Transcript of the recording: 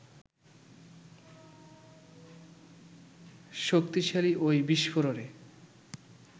শক্তিশালী ওই বিস্ফোরণে